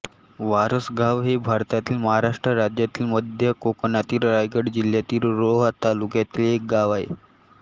वारसगाव हे भारतातील महाराष्ट्र राज्यातील मध्य कोकणातील रायगड जिल्ह्यातील रोहा तालुक्यातील एक गाव आहे